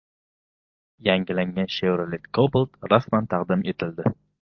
Yangilangan Chevrolet Cobalt rasman taqdim etildi .